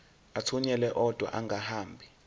athunyelwa odwa angahambi